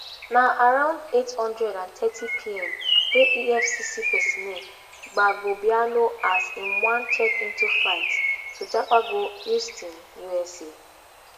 na around eight hundred and thirtypm wey efcc personnel gbab obiano as im wan check into flight to japa go houston usa